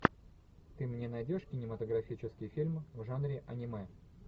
ты мне найдешь кинематографический фильм в жанре аниме